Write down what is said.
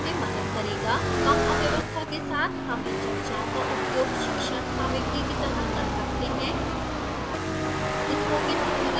यह अव्यवस्था में मदद करेगा कम अव्यवस्था के साथ हम इन चर्चाओं का उपयोग शिक्षण सामग्री की तरह कर सकते हैं